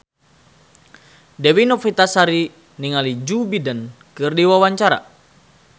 Dewi Novitasari olohok ningali Joe Biden keur diwawancara